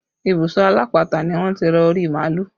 Ibùsọ alápatà ni wọ́n ti ra orí màálù